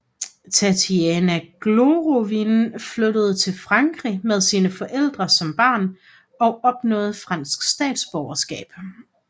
Tatiana Golovin flyttede til Frankrig med sine forældre som barn og opnåede fransk statsborgerskab